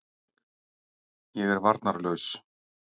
Ég er varnarlaus.